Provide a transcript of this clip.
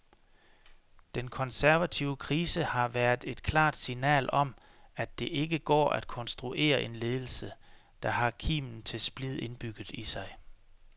Den konservative krise har været et klart signal om, at det ikke går at konstruere en ledelse, der har kimen til splid indbygget i sig.